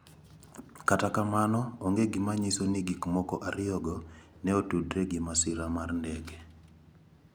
Kata kamano, onge gima nyiso ni gikmoko ariyogo ne otudore gi masira mar ndege.